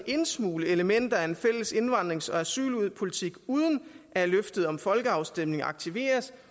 indsmugle elementer af en fælles indvandrings og asylpolitik uden at løftet om folkeafstemninger aktiveres